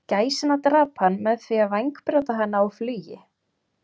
Gæsina drap hann með því að vængbrjóta hana á flugi.